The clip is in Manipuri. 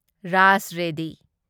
ꯔꯥꯖ ꯔꯦꯗꯤ